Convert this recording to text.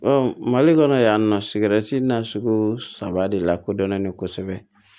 mali kɔnɔ yan nɔ sigɛrɛti na sugu saba de lakodɔnnen kosɛbɛ